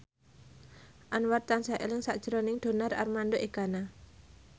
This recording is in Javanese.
Anwar tansah eling sakjroning Donar Armando Ekana